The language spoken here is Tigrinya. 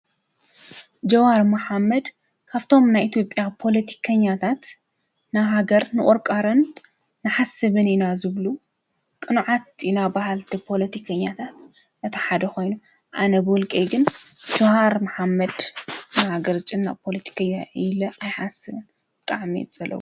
ጀዋር መሓመድ ካብቶም ናይ ኢትዮጲያ ፖለቲከኛታት ናብ ሃገር ምቁርቋርን ንሓስብን ኢና ዝብሉ ቅኑዓት ኢና በሃልቲ ፖለቲከኛታት እቲ ሓደ ኮይኑ ኣነ ብውልቀይ ጅዋር መሓመድ ንሃገር ዝጭነቕ ፖለቲከኛ እዩ ኢለ ኣይሓስብን ብጣዕሚ እየ ዝፀልኦ ?